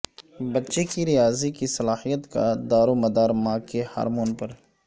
بچے کی ریاضی کی صلا حیت کا دار و مدار ماں کے ہارمون پر